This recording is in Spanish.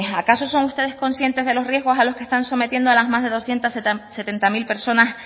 acaso son ustedes conscientes de los riesgos a los que están sometiendo a las más de doscientos setenta mil personas